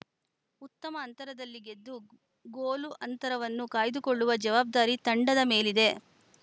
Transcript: ಉತ್ತಮ ಅಂತರದಲ್ಲಿ ಗೆದ್ದು ಗೋಲು ಅಂತರವನ್ನು ಕಾಯ್ದುಕೊಳ್ಳುವ ಜವಾಬ್ದಾರಿ ತಂಡದ ಮೇಲಿದೆ